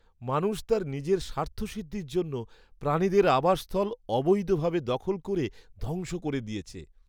মানুষ তার নিজের স্বার্থসিদ্ধির জন্য প্রাণীদের আবাস স্থল অবৈধভাবে দখল করে ধ্বংস করে দিয়েছে।